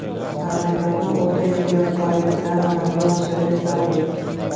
Amaliyotni o‘ta ehtiyotkorlik bilan amalga oshirish zarur.